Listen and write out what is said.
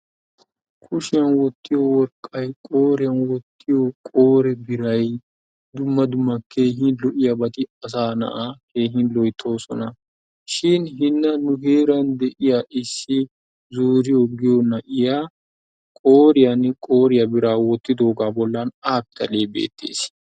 Kushiyan wottiyo worqqay, qooriyan wottiyo qoore biray, dumma dumma keehin lo'iyabati asaa na'aa keehin loyttoosona. Shin hinna nu heeran de'iya issi juuriyo giyo na'iya qooriyan qooriya biraa wottidoogaa bollan A pitalee beettees.